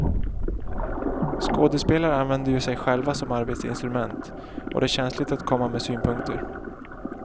Skådespelare använder ju sig själva som arbetsinstrument och det är känsligt att komma med synpunkter.